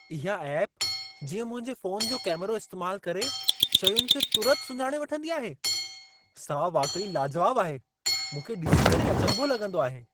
इहा ऐपु जीअं मुंहिंजे फ़ोनु जो कैमिरो इस्तेमालु करे शयुनि खे तुरत सुञाणे वठंदी आहे , सा वाक़ई लाजवाबु आहे. मूंखे डि॒सी करे ई अचंभो लॻंदो आहे।